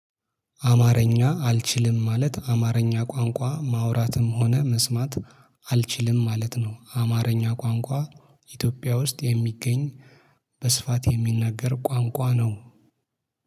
አማርኛ አልችልም ማለት አማርኛ ቋንቋ ማውራትም ሆነ መስማት አልችልም ማለት ነው። አማርኛ ቋንቋ ኢትዮጵያ ውስጥ የሚገኝ በስፋት የሚናገር ቋንቋ ነው።